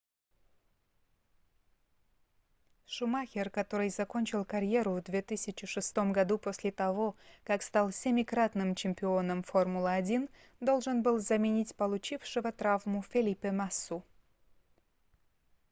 шумахер который закончил карьеру в 2006 году после того как стал семикратным чемпионом формулы-1 должен был заменить получившего травму фелипе массу